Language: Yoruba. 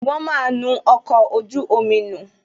Wọn máa nu ọkọ̀ ojú omi nù